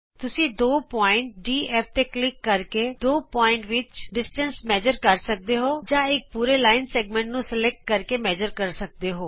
ਤੁਸੀਂ ਦੋ ਬਿੰਦੂ ਡੀਐਫਤੇ ਕਲਿਕ ਕਰਕੇ ਦੋ ਬਿੰਦੂਆਂ ਵਿਚਲਾ ਫਾਸਲਾ ਨਾਪ ਸਕਦੇ ਹੋ ਜਾਂ ਇਕ ਪੂਰੇ ਰੇਖਾ ਖੰਡ ਨੂੰ ਸਲੈਕਟ ਕਰਕੇ ਨਾਪ ਸਕਦੇ ਹੋ